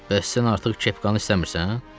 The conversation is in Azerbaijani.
Bəs sən artıq kepkanı istəmirsən?